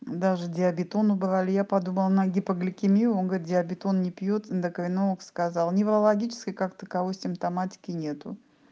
даже диабетон убрали я подумала на гипогликемию он говорит диабетон не пьёт ендокринолог сказал неврологической как таковой симптоматики нет